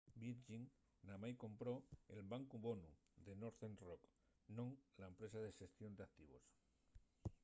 virgin namái compró'l bancu bonu” de northern rock non la empresa de xestión d'activos